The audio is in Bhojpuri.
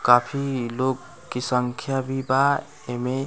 काफी लोग की संख्या भी बा एमे।